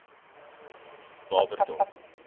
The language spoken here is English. barberton